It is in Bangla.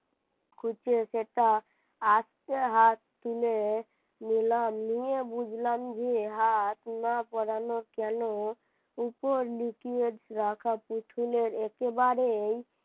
খুঁজে সেটা আস্তে হাত তুলে নিলাম নিয়ে বুঝলাম যে হাত না পড়ানো কেন উপর নিচে রাখা পুতুলের একেবারেই